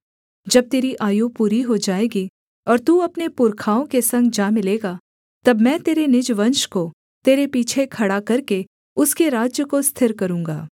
जब तेरी आयु पूरी हो जाएगी और तू अपने पुरखाओं के संग जा मिलेगा तब मैं तेरे निज वंश को तेरे पीछे खड़ा करके उसके राज्य को स्थिर करूँगा